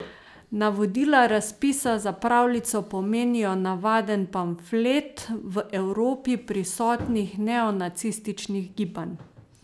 Navodila razpisa za pravljico pomenijo navaden pamflet v Evropi prisotnih neonacističnih gibanj.